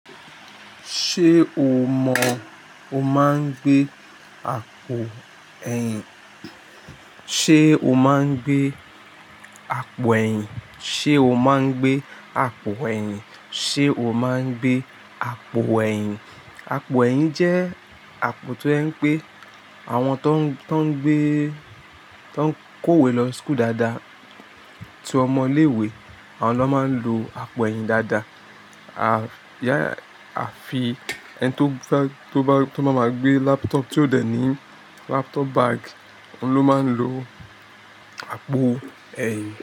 Ṣé o mọ̀, o máa ń gbé àpò ẹ̀yìn? Ṣé o máa ń gbé àpò ẹ̀yìn? Ṣé o máa ń gbé àpò ẹ̀yìn? Ṣé o máa ń gbé àpò ẹ̀yìn? Àpò ẹ̀yìn jẹ́ àpò tó jẹ ń pé àwọn tó ń, tó ń gbé, tó ń kó ìwé lọ school dáadáa, tí ọmọ iléwe, àwọn ló máa ń lo àpò ẹ̀yìn dáadáa. À fi ẹni tó bá, tó bá máa gbé laptop tí ó dẹ̀ ní laptop bag, òun ló máa ń lo àpò ẹ̀yìn.